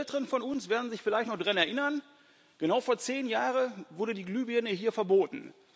Die Älteren von uns werden sich vielleicht noch daran erinnern Genau vor zehn Jahren wurde die Glühbirne hier verboten.